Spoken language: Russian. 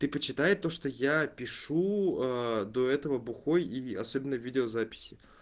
ты почитай то что я пишу до этого бухой и особенно видеозаписи